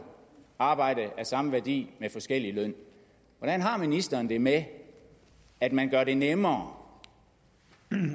arbejde af samme værdi med forskellig løn hvordan har ministeren det med at man gør det nemmere